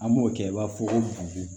An b'o kɛ i b'a fɔ ko